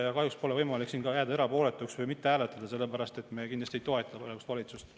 Ja kahjuks pole võimalik siin ka jääda erapooletuks või mitte hääletada, sellepärast et me kindlasti ei toeta praegust valitsust.